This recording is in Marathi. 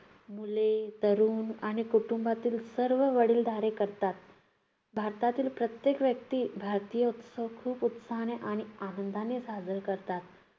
मुले, तरुण आणि कुटुंबातील सर्व वडीलधारे करतात. भारतातील प्रत्येक व्यक्ती भारतीय उत्सव खूप उत्साहाने आणि आनंदाने साजरे करतात.